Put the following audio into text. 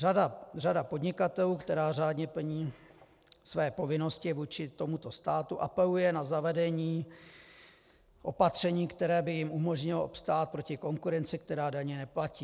Řada podnikatelů, která řádně plní své povinnosti vůči tomuto státu, apeluje na zavedení opatření, které by jim umožnilo obstát proti konkurenci, která daně neplatí.